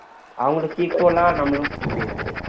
அவங்களுக்கு equalஆ நம்மளும் போக முடியாது